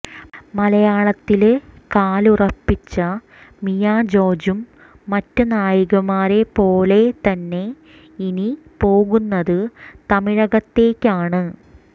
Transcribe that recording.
മലയാളത്തില് കാലുറപ്പിച്ച മിയാ ജോര്ജും മറ്റ് നായികമാരെ പോലെ തന്നെ ഇനി പോകുന്നത് തമിഴകത്തേക്കാണ്